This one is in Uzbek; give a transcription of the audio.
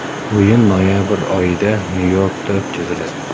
O‘yin noyabr oyida Nyu-Yorkda o‘tkaziladi.